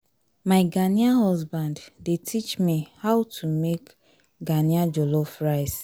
my ghanaian husband dey teach me how to make ghana jollof rice